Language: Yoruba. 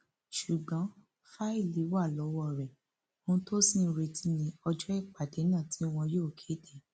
ṣùgbọn fáìlì wà lọwọ rẹ ohun tó ṣì ń retí ní ọjọ ìpàdé náà tí wọn yóò kéde